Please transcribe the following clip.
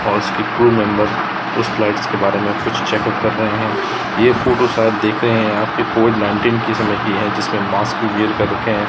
और उसके crew members उस फ्लाइट के बारे में कुछ चेकअप कर रहे हैं यह फोटो शायद देख रहे हैं कि कॉविड नाईनटिन किसे लगे हैं जिसमें मास्क भी वेयर कर हैं।